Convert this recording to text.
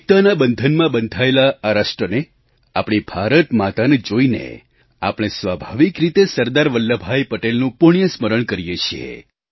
એકતાના બંધનમાં બંધાયેલા આ રાષ્ટ્રને આપણી ભારત માતાને જોઈને આપણે સ્વાભાવિક રીતે સરદાર વલ્લભભાઈ પટેલનું પુણ્યસ્મરણ કરીએ છીએ